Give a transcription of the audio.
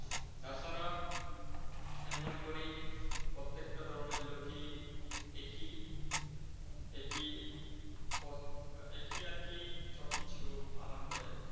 তাছাড়া আমি মনে করি, প্রত্যেকটা ধর্মের লোকই একই একই আর কি সবকিছু পালন করে।